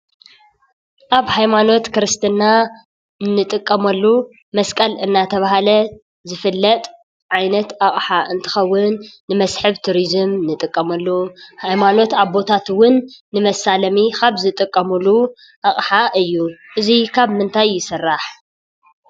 ኣብ ሃይማኖት ክርስትና እንጥቀመሉ ማስቀል እናተባሃለ ዝፍለጥ ዓይነት ኣቕሓ እንትኸውን ንመስሕብ ቱሪዙም እንጥቀመሉ ሃይማኖት ኣቦታት እውን ንመሳለሚ ካብ ዝጥቀምሉ ኣቕሓ እዩ፡፡ እዚ ካብ ምንታይ ይስራሕ?